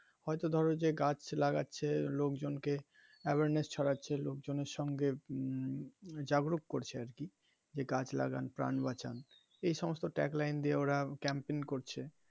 হয়তো ধরো যে গাছ লাগাচ্ছে লোকজন কে awareness ছড়াচ্ছে লোকজনের সঙ্গে জাগরূপ করছে আরকি যে গাছ লাগান প্রাণ বাঁচান এই সমস্ত tag line দিয়ে ওরা campaign করছে.